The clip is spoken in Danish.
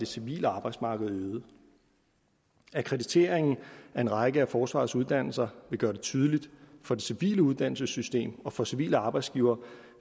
civile arbejdsmarked akkrediteringen af en række af forsvarets uddannelser vil gøre det tydeligt for det civile uddannelsessystem og for civile arbejdsgivere